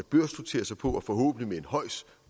børsnotere sig på og forhåbentlig